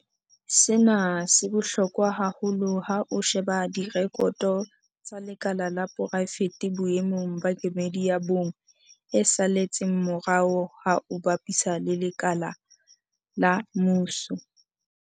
Sena se bohlokwa haholoholo ha o sheba direkoto tsa lekala la poraefete boemong ba kemedi ya bong e saletseng morao ha o bapisa le lekala la mmuso.